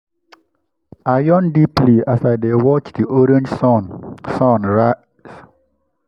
i yawn deeply as i watch the orange sun sun rise.